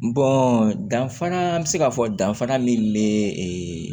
danfara an bɛ se ka fɔ danfara min bɛ ee